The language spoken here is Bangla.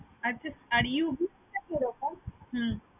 আচ্ছা আর টা কি রকম?